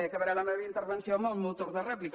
aca·baré la meva intervenció en el meu torn de rèplica